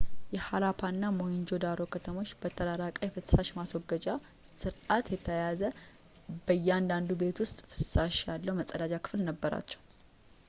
የሃራፓ እና ሞሄንጆ-ዳሮ ከተሞች በተራቀቀ የፍሳሽ ማስወገጃ ስርዓት የተያያዘው በእያንዳንዱ ቤት ውስጥ ፍላሽ ያለው መጸዳጃ ክፍል ነበራቸው